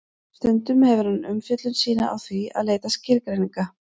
stundum hefur hann umfjöllun sína á því að leita skilgreininga